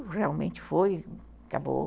E realmente foi, acabou.